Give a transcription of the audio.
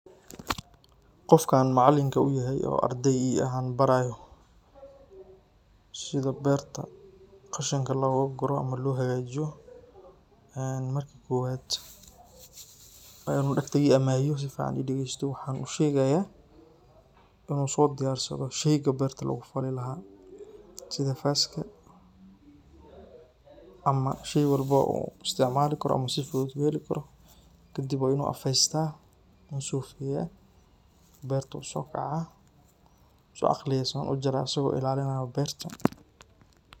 Qoofkan macalinka u yahay ardey anbarayoh setha beerta qashinka logakoroh amah lohakajiyoh, ee maraka kuwat wa inu sufican I dageystih waxan u sheegaya inu so diyarsadoh sheeyga beerta lagu fali lahay sitha faska amah sheey walibo isticmali karoh sifuthut u heli karoh kadib wa inu afesytah oo beerta u sokaca sufican u aqahaliyah aso ilalinaya beerta.